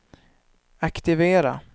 aktivera